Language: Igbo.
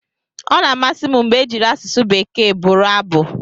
Ọ na-amasị m mgbe ejiri asụsụ Bekee bụrụ abụ.